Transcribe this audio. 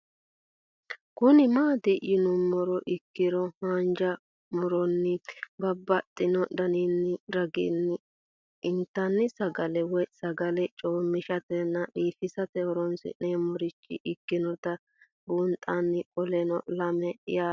Kuni mati yinumoha ikiro hanja muroni babaxino daninina ragini intani sagale woyi sagali comishatenna bifisate horonsine'morich ikinota bunxana qoleno lame yaate